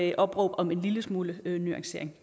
et opråb om en lille smule nuancering